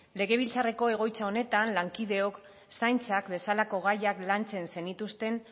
legebiltzarreko egoitza honetan lankideok zaintzak bezalako gaiak lantzen zenituzten